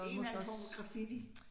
En eller anden form for graffiti